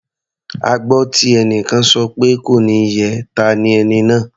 A gbọ́ tí ẹnìkan sọ pé "kò ní yẹ ẹ́" ta ni ẹni náà?